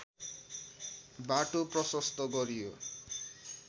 बाटो प्रशस्त गरियो